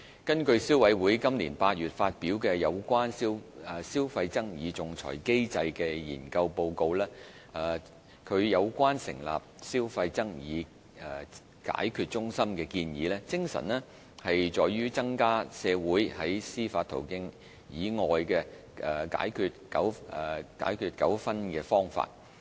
根據消委會今年8月發表有關"消費爭議仲裁機制"的研究報告，其有關成立"消費爭議解決中心"的建議，精神在於增加社會在司法途徑以外解決糾紛的方法。